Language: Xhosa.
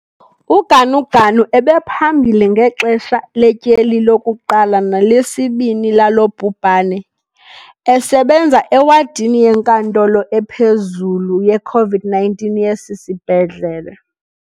UGanuganu ebephambili ngexesha letyeli lokuqala nelesibini lalo bhubhane, esebenza ewadini yenkantolo ephezulu ye-COVID-19 yesi sibhedlele.